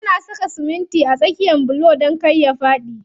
Ana saka simitin a tsakiyan bulo don kar ya faɗi.